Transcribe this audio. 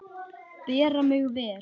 Bera mig vel?